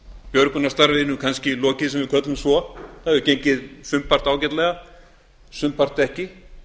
björgunarstarfinu kannski lokið sem við köllum svo það hefur gengið sumpart ágætlega sumpart ekki